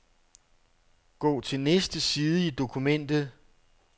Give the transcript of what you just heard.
Gå til næste side i dokumentet.